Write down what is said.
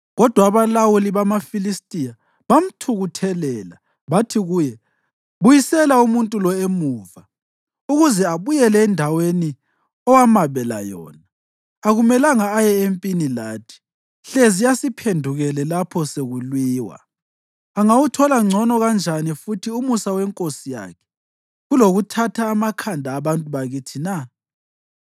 Kodwa abalawuli bamaFilistiya bamthukuthelela bathi kuye, “Buyisela umuntu lo emuva, ukuze abuyele endaweni owamabela yona. Akumelanga aye empini lathi, hlezi asiphendukele lapho sekulwiwa. Angawuthola ngcono kanjani futhi umusa wenkosi yakhe kulokuthatha amakhanda abantu bakithi na?